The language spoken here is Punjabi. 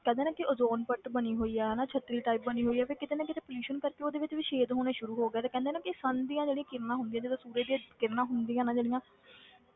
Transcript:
ਕਹਿੰਦੇ ਆ ਨਾ ਕਿ ਓਜੋਨ ਪਰਤ ਬਣੀ ਹੋਈ ਆ ਹਨਾ ਛੱਤਰੀ type ਬਣੀ ਹੋਈ ਆ ਫਿਰ ਕਿਤੇ ਨਾ ਕਿਤੇ pollution ਕਰਕੇ ਉਹਦੇ ਵਿੱਚ ਵੀ ਛੇਦ ਹੋਣੇ ਸ਼ੁਰੂ ਹੋ ਗਏ ਆ ਤੇ ਕਹਿੰਦੇ ਆ ਨਾ ਕਿ sun ਦੀਆਂ ਜਿਹੜੀਆਂ ਕਿਰਨਾਂ ਹੁੰਦੀਆਂ ਜਦੋਂ ਸੂਰਜ ਦੀਆਂ ਕਿਰਨਾਂ ਹੁੰਦੀਆਂ ਨੇ ਜਿਹੜੀਆਂ